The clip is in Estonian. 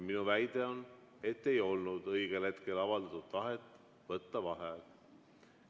Minu väide on, et ei olnud õigel hetkel avaldatud tahet võtta vaheaega.